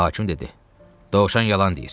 Hakim dedi: Dovşan yalan deyir.